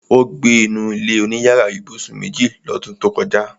Ó gbé inú ilé-oníyàrá ibùsùn méjì lọ́dún tó kọjá